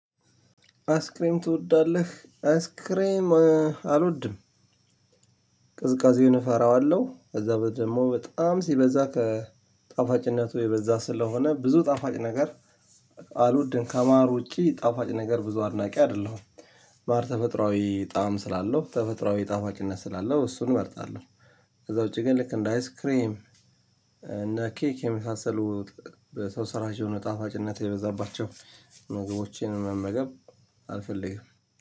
አይስክሬም ትወዳለህ? አይስክሬም አልወድም። ቅዝቃዜውን እፈራዋለሁ። ከዛ ደግሞ በጣም ሲበዛ ከጣፋጭነቱ የበዛ ስለሆነ ብዙ ጣፋጭ ነገር አልወድም። ከማር ውጪ ጣፋጭ ነገር ብዙ አድናቂ አይደለሁም ማር ተፈጥሮአዊ ጣዕም ስላለው ተፈጥሮአዊ ጣፋጭነት ስላለው እሱን እመርጣለሁ። ከዛ ውጪ ግን ልክ እንደ አይስ ክሬም እነ ኬክ የመሳሰሉ ሰው ስራሽ የሆነ ጣፋጭነት የበዛባቸው ምግቦችን መመገብ አልፈልግም